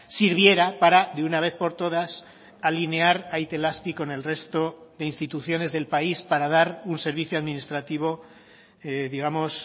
sirviera para de una vez por todas alinear a itelazpi con el resto de instituciones del país para dar un servicio administrativo digamos